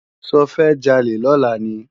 Ṣofẹ́ jalè lọ́la ni?